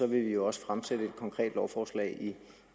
vil vi også fremsætte et konkret lovforslag